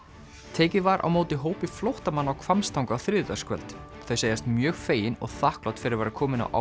tekið var á móti hópi flóttamanna á Hvammstanga á þriðjudagskvöld þau segjast mjög fegin og þakklát fyrir að vera komin á